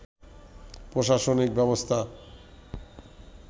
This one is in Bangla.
প্রশাসনিক ব্যবস্থা